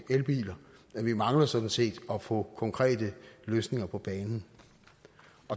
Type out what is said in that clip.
elbiler men vi mangler sådan set at få konkrete løsninger på banen